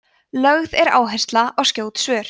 lögð er áhersla á skjót svör